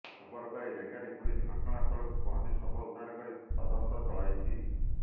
ଖବର ପାଇ ରେଙ୍ଗାଲି ପୁଲିସ ଘଟଣାସ୍ଥଳକୁ ପହଂଚି ଶବ ଉଦ୍ଧାର କରି ତଦନ୍ତ ଚଲାଇଛି